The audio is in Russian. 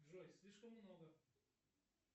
джой слишком много